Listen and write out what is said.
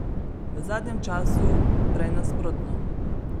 V zadnjem času prej nasprotno.